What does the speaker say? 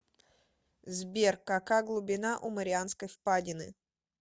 сбер кака глубина у марианской впадины